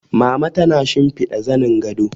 Mama tana shimfiɗa zanin gado